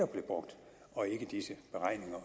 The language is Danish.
blev brugt og ikke disse beregninger